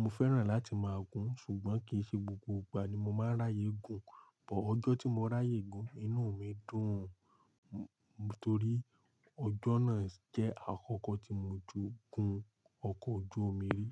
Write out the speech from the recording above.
Mo fẹ́ràn láti máa gun ṣùgbọ́n kì í ṣe gbogbo ìgbà ni mo máa ń ráyè gùn, bọ̀ ọjọ́ tí mo ráyè gùn, inú mi dùn-ùn torí ọjọ́ náà jẹ́ àkọ́kọ́ tí mo ti gun ọkọ̀ ojú omi rí.